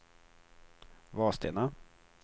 Vadstena